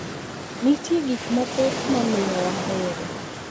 Nitie gik mathoth mamiyo wahere